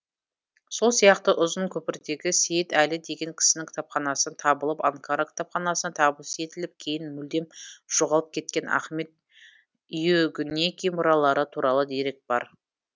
сол сияқты ұзын көпірдегі сейіт әлі деген кісінің кітапханасынан табылып анкара кітапханасына табыс етіліп кейін мүлдем жоғалып кеткен ахмед иүгінеки мұралары туралы дерек бар